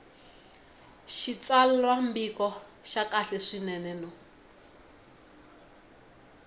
xitsalwambiko xa kahle swinene no